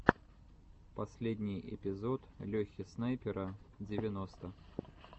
последний эпизод лехи снайпера девяносто